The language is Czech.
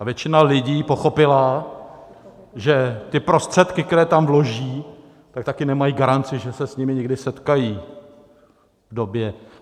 A většina lidí pochopila, že ty prostředky, které tam vloží, tak taky nemají garanci, že se s nimi někdy setkají v době...